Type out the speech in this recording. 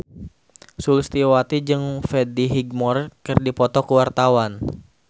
Sulistyowati jeung Freddie Highmore keur dipoto ku wartawan